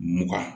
Mugan